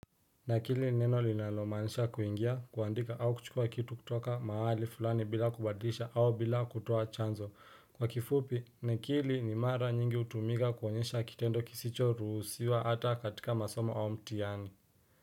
Na kili neno linalomanisha kuingia kuandika au kuchukua kitu kutoka mahali fulani bila kubadisha au bila kutoa chanzo kwa kifupi na kili ni mara nyingi hutumika kuonyesha kitendo kisicho rusiwa hata katika masoma au mtihani.